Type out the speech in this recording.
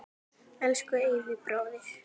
Elsku Eyvi bróðir.